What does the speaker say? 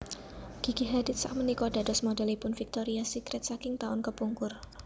Gigi Hadid sakmenika dados modelipun Victoria's Secret saking taun kepungkur